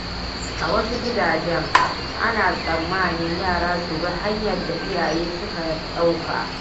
A wasu gidaje, ana tsammanin yara su bi hanyar da iyaye suka ɗauka.